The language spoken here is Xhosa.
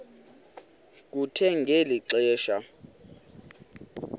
kuthe ngeli xesha